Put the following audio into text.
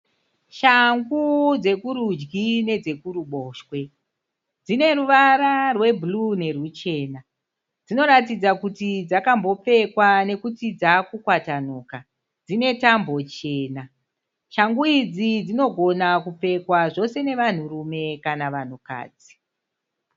Shangu dzekurudyi nedzekuruboshwe. Dzine ruvara rwebhuruu neruchena. Dzinoratidza kuti dzakambopfekwa nekuti dzaakukwatanuka. Dzine tambo chena. Shangu idzi dzinogona kupfekwa zvose nevanhurume kana vanhukadzi.